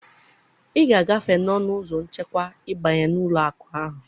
ị ga-agafe n'ọnụ ụzọ nchekwa ịbanye n'ụlọ akụ ahụ